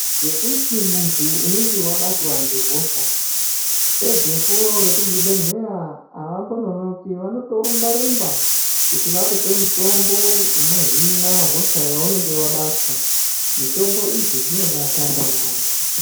Ngekuti munhu unenge wabatwa ngehosha pedzepo vekuzvibhehleya avambononoki vanotorumba rumba kuti vakupe mutombo uno hina hosha yaunenge wabatwa mitombo idzi dzinobaashanda yaamho.